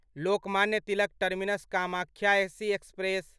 Lokmanya Tilak terminus Kamakhya AC express